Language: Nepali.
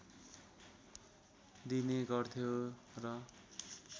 दिने गर्थ्यो र